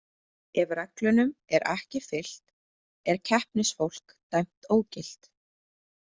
Ef reglunum er ekki fylgt er keppnisfólk dæmt ógilt.